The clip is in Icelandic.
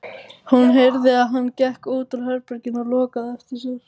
Hún heyrði að hann gekk út úr herberginu og lokaði á eftir sér.